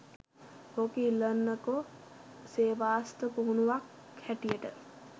ඕක ඉල්ලන්නකො සේවාස්ථ පුහුණුවක් හැටියට